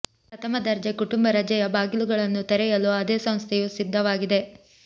ಪ್ರಥಮ ದರ್ಜೆ ಕುಟುಂಬ ರಜೆಯ ಬಾಗಿಲುಗಳನ್ನು ತೆರೆಯಲು ಅದೇ ಸಂಸ್ಥೆಯು ಸಿದ್ಧವಾಗಿದೆ